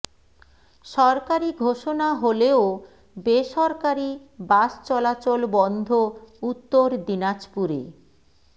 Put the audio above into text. সরকারি ঘোষণা হলেও বেসরকারি বাস চলাচল বন্ধ উত্তর দিনাজপুরে